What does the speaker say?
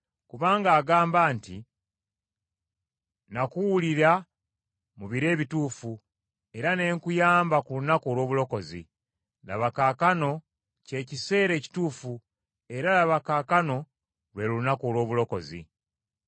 Kubanga agamba nti, “Nakuwulira mu biro ebituufu, era ne nkuyamba ku lunaku olw’obulokozi.” Laba kaakano kye kiseera ekituufu, era laba kaakano lwe lunaku olw’obulokozi.